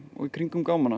og í kringum